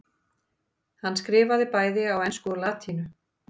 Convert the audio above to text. hann skrifaði bæði á ensku og latínu